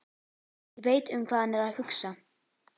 Ég veit um hvað hann er að hugsa.